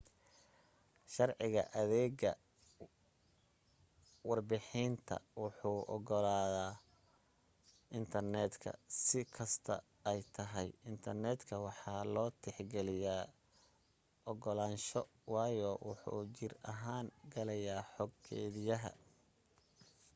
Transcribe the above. sharciga adeega warbahinta wuxuu ogolanayaa intarneetka si kasto ay tahay intarneetka waxaa loo tix geliya ogolaansho waayo wuxuu jir ahaan galayaa xog keediyaha